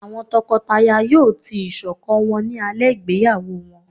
awọn tọkọtaya yóò tii iṣọkan wọn ni alẹ igbeyawo wọn